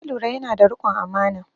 Na lura yana da riƙon amana